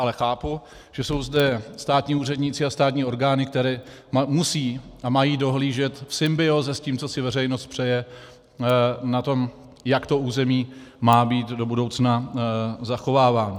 Ale chápu, že jsou zde státní úředníci a státní orgány, které musí a mají dohlížet v symbióze s tím, co si veřejnost přeje, na to, jak to území má být do budoucna zachováváno.